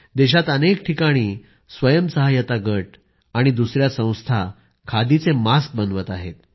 देशात अनेक ठिकाणी स्वयंसहाय्यता गट आणि दुसर्या संस्था खादीचे मास्क बनवत आहेत